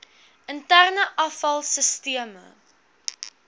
interne afval sisteme